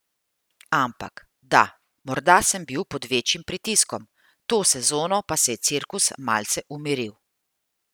Ampak, da, morda sem bil pod večjim pritiskom, to sezono pa se je cirkus malce umiril.